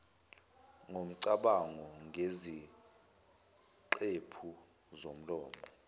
ngomcabango ngeziqephu zomlomo